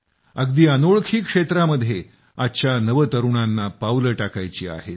अगदी अनोळख्या क्षेत्रामध्ये आजच्या नवतरूणांना पावले टाकायची आहेत